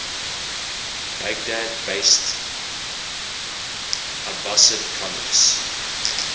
baghdad based abbasid caliphs